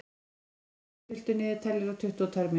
Petrós, stilltu niðurteljara á tuttugu og tvær mínútur.